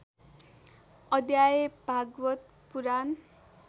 अध्याय भागवत् पुराण